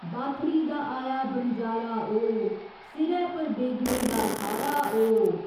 Bathory दा आया बनजारा ओ सिरै पर बेगड़े दा खारा ओ।